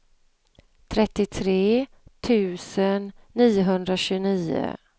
trettiotre tusen niohundratjugonio